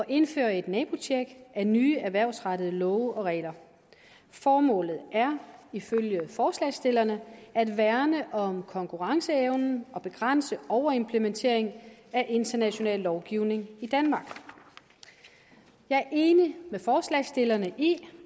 indføre et nabotjek af nye erhvervsrettede love og regler formålet er ifølge forslagsstillerne at værne om konkurrenceevnen og begrænse overimplementering af international lovgivning i danmark jeg er enig med forslagsstillerne i